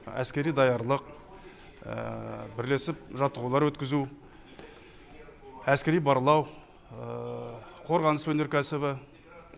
әскери даярлық бірлесіп жаттығулар өткізу әскери барлау қорғаныс өнеркәсібі